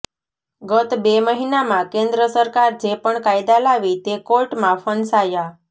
ગત બે મહિનામાં કેન્દ્ર સરકાર જે પણ કાયદા લાવી તે કોર્ટમાં ફંસાયા